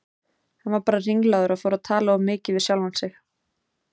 Hann var bara ringlaður og fór að tala of mikið við sjálfan sig.